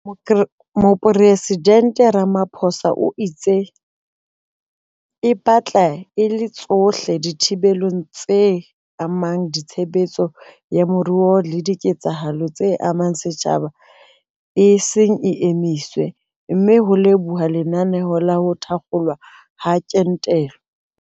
Mopresidente Ramaphosa o itse e batla e le tsohle dithibelo tse amang tshebetso ya moruo le diketsahalo tse amang setjhaba e seng e emisitswe, mme ho lebohuwa lenaneo la ho thakgolwa ha kentelo.